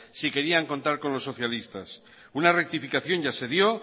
si querían contar con los socialistas una rectificación ya se dio